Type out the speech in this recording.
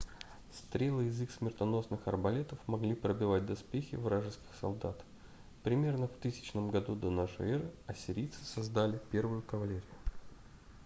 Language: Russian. стрелы из их смертоносных арбалетов могли пробивать доспехи вражеских солдат примерно в 1000 году до нашей эры ассирийцы создали первую кавалерию